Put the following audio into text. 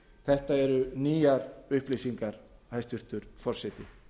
þetta eru nýjar upplýsingar hæstvirtur forseti